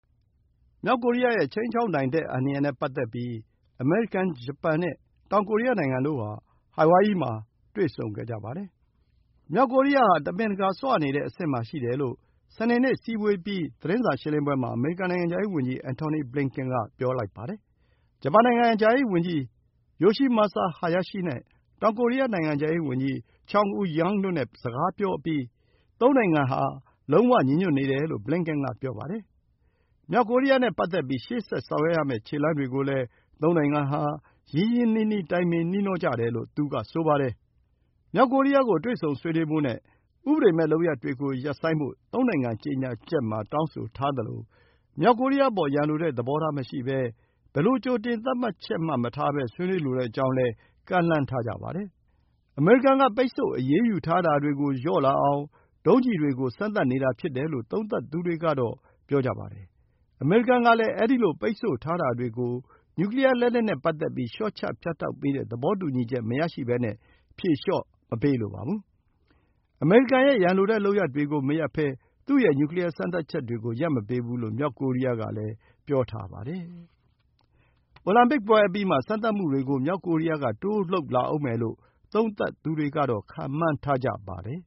မြောက်ကိုရီးယားရဲ့ ခြိမ်းခြောက်နိုင်မှု အန္တရာယ်နဲ့ ပတ်သက်ပြီး အမေရိကန်၊ ဂျပန်နဲ့ တောင်ကိုရီးယားနိုင်ငံတို့ဟာ ဟာဝိုင်ယီမှာ တွေ့ဆုံခဲ့ကြပါတယ်။ မြောက်ကိုရီးယားဟာ တမင်တကာ ဆွနေတဲ့အဆင့်မှာ ရှိတယ်လို့ စနေနေ့ အစည်းအဝေးအပြီး သတင်းစာရှင်းလင်းပွဲမှာ အမေရိကန် နိုင်ငံခြားရေးဝန်ကြီး Antony Blinken က ပြောပါတယ်။ ဂျပန်နိုင်ငံခြားရေးဝန်ကြီး Yoshimasa Hayashi နဲ့ တောင်ကိုရီးယား နိုင်ငံခြားရေးဝန်ကြီး Chung Eui-yong တို့နဲ့ စကားပြောအပြီးမှာ သုံးနိုင်ငံဟာ လုံးဝဥဿုံ ညီညွတ်နေတယ်လို့ Blinken က ပြောပါတယ်။ မြောက်ကိုရီးယားနဲ့ ပတ်သက်ပြီး ရှေ့ဆက်ဆောင်ရွက်ရမယ့် ခြေလှမ်းတွေကိုလည်း သုံးနိုင်ငံဟာ ရင်းရင်းနှီးနှီး တိုင်ပင်နှီးနှောကြတယ်လို့ သူကဆိုပါတယ်။ မြောက်ကိုရီးယားကို တွေ့ဆုံဆွေးနွေးဖို့နဲ့ ဥပဒေမဲ့လုပ်ရပ်တွေ ရပ်ဖို့ သုံးနိုင်ငံ ကြေညာချက်မှာ တောင်းဆိုထားသလို မြောက်ကိုရီးယားအပေါ် ရန်လိုတဲ့သဘောထား မရှိဘဲ ဘယ်လို ကြိုတင်သတ်မှတ်ချက် မထားဘဲ ဆွေးနွေးလိုကြောင်းလည်း ကမ်းလှမ်းထားပါတယ်။ အမေရိကန်က ပိတ်ဆို့အရေးယူထားတာတွေကို လျှော့လာအောင် ဒုံးကျည်တွေကို စမ်းသပ်နေတာ ဖြစ်တယ်လို့ သုံးသပ်သူတွေက ပြောကြပါတယ်။ အမေရိကန်ကလည်း အဲဒီလို ပိတ်ဆို့ထားတာတွေကို နျူကလီးယားလက်နက်နဲ့ ပတ်သက်ပြီး လျှော့ချ ဖြတ်တောက်ပေးတဲ့ သဘောတူညီချက် မရဘဲ ဖြေလျှော့မပေးလိုပါဘူး။ အမေရိကန်ရဲ့ ရန်လိုတဲ့ လုပ်ရပ်တွေကို မရပ်ဘဲ သူ့ရဲ့ နျူကလီးယား စမ်းသပ်ချက်တွေကို ရပ်မပေးဘူးလို့ မြောက်ကိုရီးယားကလည်း ပြောထားပါတယ်။ အိုလံပစ်ပွဲအပြီးမှာ စမ်းသပ်မှုတွေကို မြောက်ကိုရီးယားက တိုးလုပ်လာဦးမယ်လို့ သုံးသပ်သူတွေက ခန့်မှန်းထားကြပါတယ်